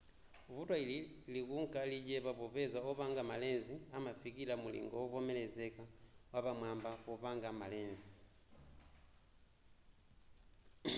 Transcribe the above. vuto ili likunka lichepa popeza opanga ma lens amafikira mulingo wovomerezeka wapamwaba popanga ma lens